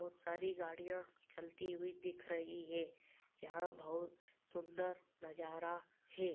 बहोत सारी गाड़ियां चलती हुई दिख रही है। यहाँ बहोत सुन्दर नजारा है।